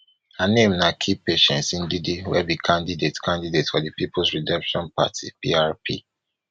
her name na key patience ndidi wey be candidate candidate for di peoples redemption party prp